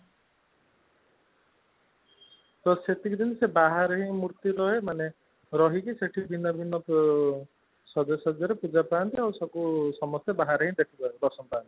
ତ ସେତିକି ଦିନ ବାହାରେ ହିନ ମୂର୍ତି ରୁହେ ମାନେ ରହିକି ସେଠି ଭିନ୍ନ ଭିନ୍ନ ସାଜ ସଜା ରେ ଆଉ ସବୁ ବାହାରେ ହିଁ ଦର୍ଶନ ପାଆନ୍ତି